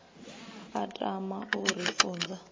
a tama u ri funza